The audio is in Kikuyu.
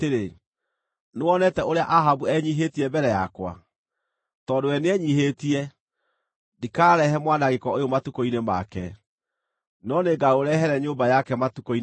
“Nĩwonete ũrĩa Ahabu enyiihĩtie mbere yakwa? Tondũ we nĩenyiihĩtie, ndikarehe mwanangĩko ũyũ matukũ-inĩ make, no nĩngaũrehere nyũmba yake matukũ-inĩ ma mũriũ.”